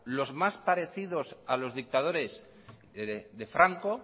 los más parecidos a los dictadores de franco